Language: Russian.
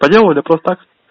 по делу или просто так